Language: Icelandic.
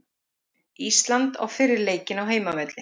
Ísland á fyrri leikinn á heimavelli